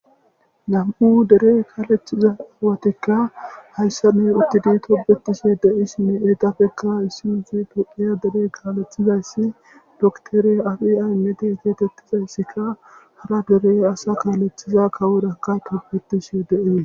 Nam"u dere kaleththiza cimmatikka hayissan utidi tobetishshe de'es hegapekka issi issi tophphiya dere kaleththiza dokiter abi ammede getetizaysikka hara dere ase kaleththiza hara dere kaleththiza kaworakka tobetishshe de'es